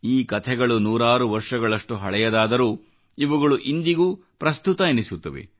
ಈ ಕಥೆಗಳು ನೂರಾರು ವರ್ಷಗಳಷ್ಟು ಹಳೆಯದಾದರೂ ಇವುಗಳು ಇಂದಿಗೂ ಪ್ರಸ್ತುತವೆನಿಸುತ್ತವೆ